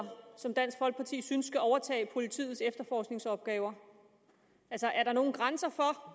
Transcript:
som dansk folkeparti synes skal overtage politiets efterforskningsopgaver altså er der nogen grænser for